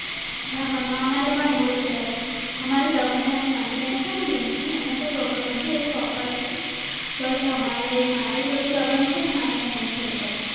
અમારે પણ એવું છે અમારે નાની બેન ચેને રીન્કી એને કઈ problem નથી એતો topper છે but મારા થોડી અને મારા ભાઈ ને થોડી problem